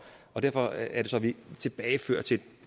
og derfor er det så at vi tilbagefører til